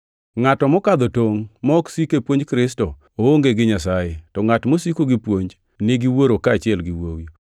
Ngʼato mokadho tongʼ, ma ok sik e puonj Kristo, oonge gi Nyasaye, to ngʼat mosiko gi puonj nigi Wuoro kaachiel gi Wuowi.